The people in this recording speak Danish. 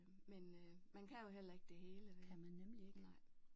Men man kan jo heller ikke det hele vel